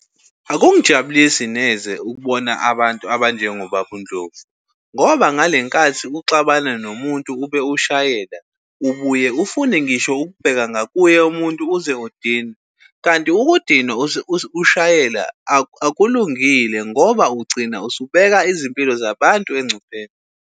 Akungijabulisi neze ukubona abantu abanjengobaba uNdlovu ngoba ngale nkathi uxabana nomuntu ube ushayela ubuye ufune ngisho ukubheka ngakuye umuntu uze udinwe. Kanti ukudinwa ushayele akulungile ngoba ugcina usubeka izimpilo zabantu engcupheni.